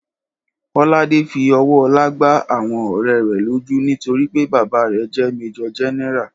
Kọ́ládé fí owó ọlá gbà awọn ọ̀rẹ́ rẹ̀ lójú nítorí pé bàbá rè jé Májòr Générà